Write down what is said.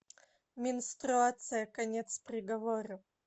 менструация конец приговора